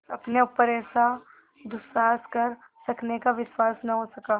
अपने ऊपर ऐसा दुस्साहस कर सकने का विश्वास न हो सका